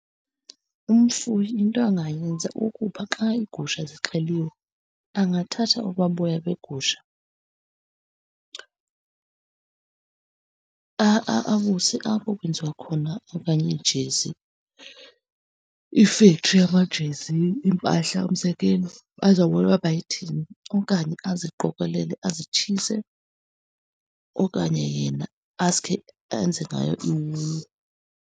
Umfuyi into angayenza ukuba xa igusha zixheliweyo angathatha obaa boya begusha abuse apho kwenziwa khona okanye iijezi, ifektri yamajezi, iimpahla umzekelo. Bazobona uba bayithini. Okanye aziqokelele azitshise, okanye yena asuke enze ngayo iwulu.